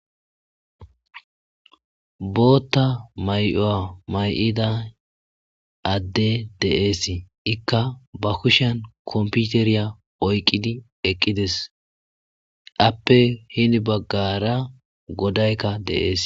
botta may'uwa may'idda adde dees ikka ba kushan kompiteriya oyqqidi eqqides appe heni baggara godaykka de'ees